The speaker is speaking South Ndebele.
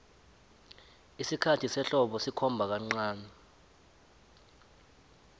isikhathi sehlobo sikhomba kancani